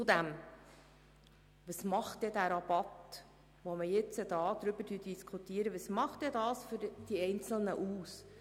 Zudem: Was macht der Rabatt, über den wir jetzt diskutieren, für die Einzelnen aus?